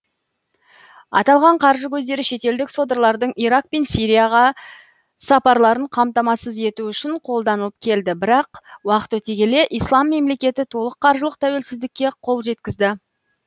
аталған қаржы көздері шетелдік содырлардың ирак пен сирияға сапарларын қамтамасыз ету үшін қолданылып келді бірақ уақыт өте келе ислам мемлекеті толық қаржылық тәуелсіздікке қол жеткізді